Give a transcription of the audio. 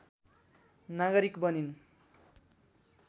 नागरिक बनिन्